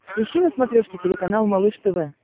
ищи на смотрешке телеканал малыш тв